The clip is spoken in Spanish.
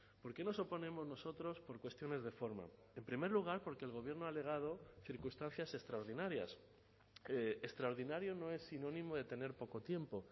por qué nos oponemos nosotros por cuestiones de forma en primer lugar porque el gobierno ha alegado circunstancias extraordinarias extraordinario no es sinónimo de tener poco tiempo